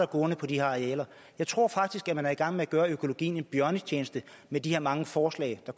gående på de her arealer jeg tror faktisk at man er i gang med at gøre økologien en bjørnetjeneste med de her mange forslag der